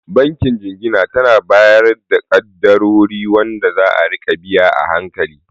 Bankin Jingina tana bayar da kaddarori wanda za'a rika biya a hankali